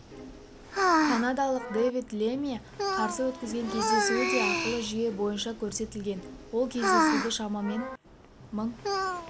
канадалық давид лемьеге қарсы өткізген кездесуі де ақылы жүйе бойынша көрсетілген ол кездесуді шамамен мың